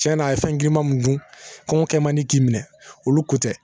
Cɛnna a ye fɛn girinma mun dun kɔngɔ kɛ man di k'i minɛ olu ko tɛ